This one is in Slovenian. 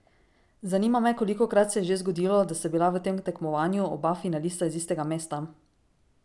Zanima me kolikokrat se je že zgodilo, da sta bila v tem tekmovanju oba finalista iz istega mesta?